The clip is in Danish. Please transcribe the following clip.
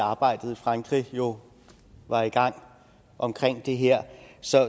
arbejdet i frankrig jo var i gang omkring det her så